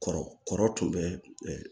Kɔrɔ kɔrɔ tun bɛ ɛɛ